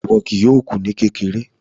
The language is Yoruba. Iwọ kìí yòọ̀ kú ní kékèrè